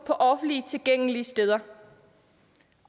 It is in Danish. på offentligt tilgængelige steder